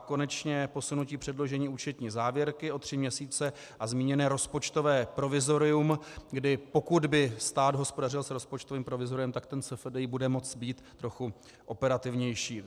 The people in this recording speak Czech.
A konečně posunutí předložení účetní závěrky o tři měsíce a zmíněné rozpočtové provizorium, kdy pokud by stát hospodařil s rozpočtovým provizoriem, tak ten SFDI bude moci být trochu operativnější.